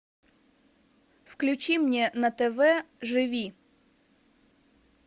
включи мне на тв живи